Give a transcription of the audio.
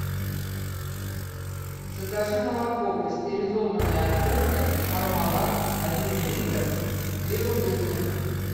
закажи молоко пастеризованное отборное пармалат один литр две бутылки